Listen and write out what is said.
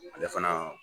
Ale fana